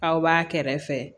Aw b'a kɛrɛfɛ